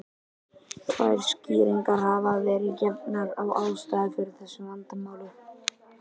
Tvær skýringar hafa verið gefnar á ástæðu fyrir þessu vandamáli.